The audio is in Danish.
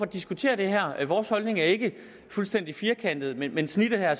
diskutere det her vores holdning er ikke fuldstændig firkantet men men snittet her er